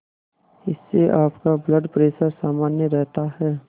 इससे आपका blood pressure सामान्य रहता है